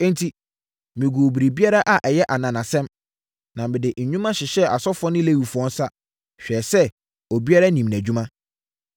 Enti, meguu biribiara a ɛyɛ ananasɛm, na mede nnwuma hyehyɛɛ asɔfoɔ ne Lewifoɔ nsa, hwɛɛ sɛ obiara nim nʼadwuma.